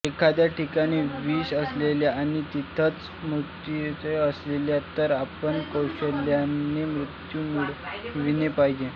एखाद्या ठिकाणी विष असेल आणि तिथेच अमृतही असेल तर आपण कौशल्याने अमृत मिळविले पाहिजे